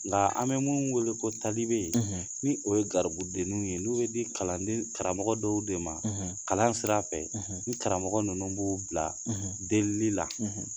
Nga an be mun wele ko talibe ,ni o ye garibudenninw ye n'o ye di kalan den karamɔgɔ dɔw de ma kalan sira fɛ ni karamɔgɔ nunnu b'u bila delieli la